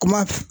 Kuma